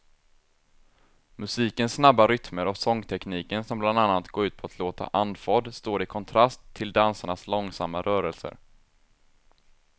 Musikens snabba rytmer och sångtekniken som bland annat går ut på att låta andfådd står i kontrast till dansarnas långsamma rörelser.